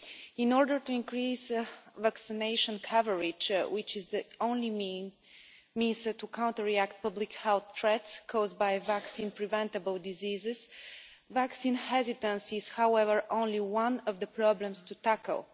In order to increase vaccination coverage, which is the only means to counteract the public health threats caused by vaccine preventable diseases, vaccine hesitancy is however only one of the problems to tackle.